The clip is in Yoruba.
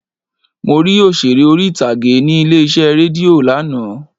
Mo rí Òṣeré orí ìtàgé ní ilé iṣẹ́ rédíò lánàá.